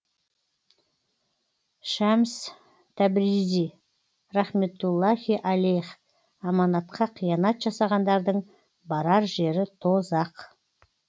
шәмс тәбризи рахметтуллахи алейх аманатқа қиянат жасағандардың барар жері тозақ